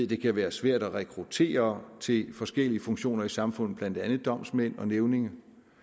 det kan være svært at rekruttere til forskellige funktioner i samfundet blandt andet som domsmænd og nævninge